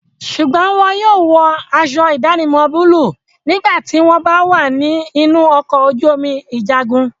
Sùgbọ́n wọn yóò wọ aṣọ ìdánimọ̀ búlúù nígbà tí wọ́n bá wà ní inú ọkọ̀ ojú omi ìjagun.